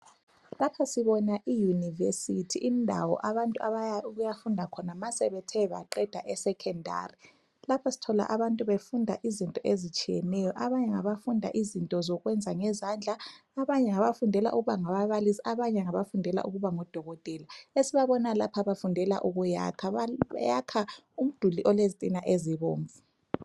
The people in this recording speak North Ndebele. Lapha sibona iuniversity indawo abantu abaya ukuyafunda khona ma sebethe baqeda esecondary .Lapha sithola abantu bafunda izinto ezitshiyeneyo ,abanye ngabafunda izinto zokwenza ngezandla, abanye ngabafundela ukuba ngababalisi ,abanye ngabafundela ukuba ngodokotela. Esibabona lapha bafundela ukuyakha ,bayakha umduli olezitina ezibomvu.